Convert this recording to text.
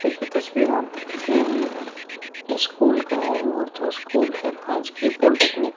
ये जो तस्वीर आप देख रहे हैं येये स्कूल का है और जो स्कूल है राजकीय पॉलिटेक्निक --